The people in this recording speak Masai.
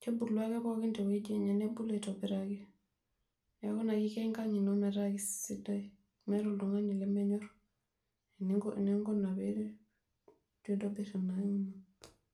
kebule Ake pookin tewueji enye nebulu aitobiraki, neaku kisho enkang ino metaa kesida meetae oltungani lemenyor eninkuna .